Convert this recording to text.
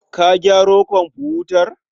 Ka gyaro komfutar?